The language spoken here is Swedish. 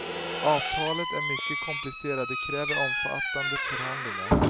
Avtalet är mycket komplicerat, det kräver omfattande förhandlingar.